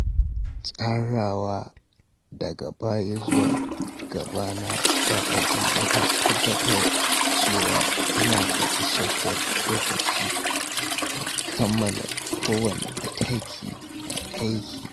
Tsarawa daga baya zuwa gaba na wa’adi yana tabbatar da cewa ina da isasshen lokaci don kammala kowanne mataki na aiki.